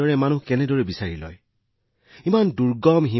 ইমান দূৰৱৰ্তী এলেকাত কোনে কাম কৰে আমি হিমালয় অঞ্চলত বহি কাম কৰি আছো